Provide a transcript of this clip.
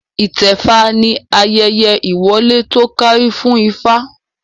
Itẹfa ni ayẹyẹ ìwọlé to kárí fún ifá